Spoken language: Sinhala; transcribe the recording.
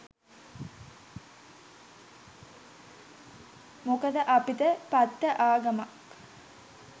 මොකද අපිට පට්ට ආගමක්